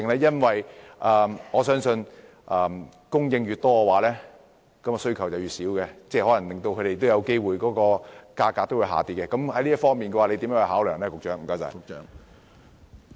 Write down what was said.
因為我相信供應越多，需求便越少，有機會令業主的收入減少，在這方面局長會如何作出考量？